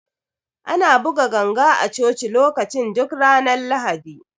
Ana buga ganga a Coci lokacin duk ranar Lahadi.